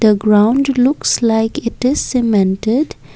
the ground looks like it is cemented.